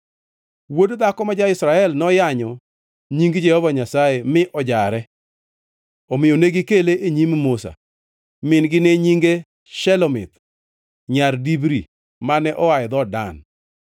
Wuod dhako ma ja-Israel noyanyo Nying Jehova Nyasaye mi ojare; omiyo negikele e nyim Musa. (Min-gi ne nyinge Shelomith, nyar Dibri mane oa e dhood Dan.)